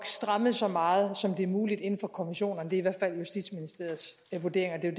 strammet så meget som det er muligt inden for konventionerne det er i hvert fald justitsministeriets vurdering og det er